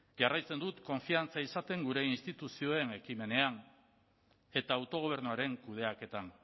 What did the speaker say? jarraitzen dut konfiantza izaten gure instituzioen ekimenean eta autogobernuaren kudeaketan